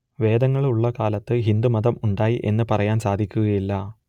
വേദങ്ങൾ ഉള്ള കാലത്ത് ഹിന്ദു മതം ഉണ്ടായി എന്ന് പറയാൻ സാധക്കുകയില്ല